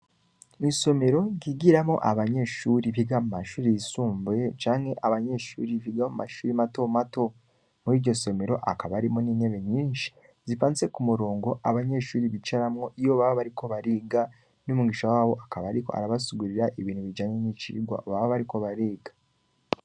Isomero ryigiramwo abanyeshure biga mumashure y'isumbuye canke abanyeshure biga mu mashure mato mato, muriryo somero hakaba harimwo n'intebe nyinshi zipanze k'umurongo, abanyeshure bicaramwo iyo baba bariko bariga, n'umwigisha wabo akaba ariko arabasigurira ibintu bijanye n'icigwa baba bariko bariga.